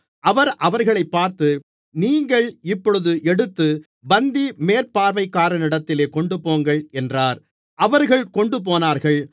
அவர் அவர்களைப் பார்த்து நீங்கள் இப்பொழுது எடுத்து பந்தி மேற்பார்வைக்காரனிடத்தில் கொண்டுபோங்கள் என்றார் அவர்கள் கொண்டுபோனார்கள்